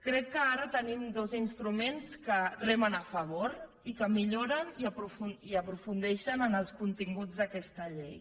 crec que ara tenim dos instruments que remen a favor i que milloren i aprofundeixen en els continguts d’aquesta llei